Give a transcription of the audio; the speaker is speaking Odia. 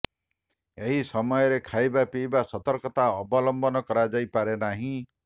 ଏହି ସମୟରେ ଖାଇବା ପିଇବାରେ ସତର୍କତା ଅବଲମ୍ବନ କରାଯାଇପାରେ ନାହିଁ